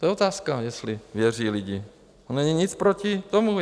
To je otázka, jestli věří lidi, to není nic proti tomu.